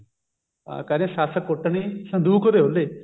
ਹਾਂ ਕਹਿੰਦੇ ਸੱਸ ਕੁੱਟਣੀ ਸੰਦੂਕ ਦੇ ਓਹਲੇ